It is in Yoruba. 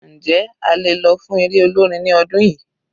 Njẹ́ a lè lọ fún eré olórin ní ọdún yìí?